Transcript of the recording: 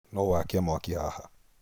Nũ ũ wakia mwaki haha?